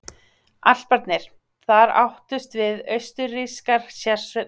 Alparnir: Þar áttust við austurrískar hersveitir annars vegar og ítalskar hins vegar.